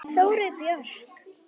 Þórey Björk.